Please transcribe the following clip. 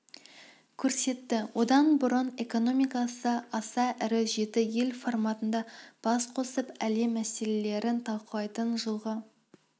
көрсетті одан бұрын экономикасы аса ірі жеті ел форматында бас қосып әлем мәселелерін талқылайтын жылғы